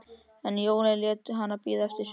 En jólin létu enn bíða eftir sér.